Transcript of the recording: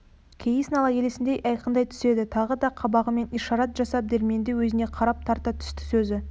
кейіс нала елесіндей айқындай түседі тағы да қабағымен ишарат жасап дәрменді өзіне қарай тарта түсті сөзі